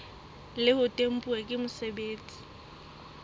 le ho tempuwa ke mosebeletsi